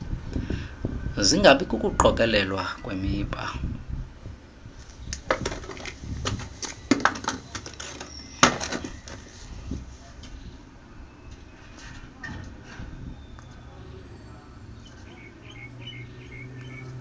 singabi kukuqokelelwa kwemiba